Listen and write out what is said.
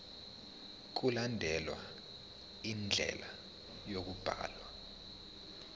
mkulandelwe indlela yokubhalwa